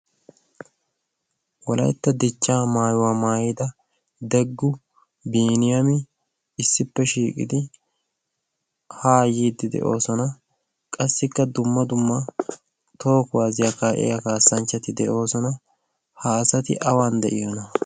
Wolaytta dichchaa maayuwa maayida Deggu, Biiniyami issippe shiiqidi haa yiiddi de'oosona. Qassikka dumma dumma toho kuwaasiya kaa'iya kaassanchchatii de'oosona. Ha asati awan de'iyonaa?